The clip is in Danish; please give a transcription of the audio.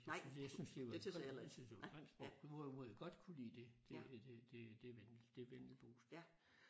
Jeg synes jeg synes jeg synes det var grimt sprog hvorimod jeg godt kunne lide det det det det det det vendelboske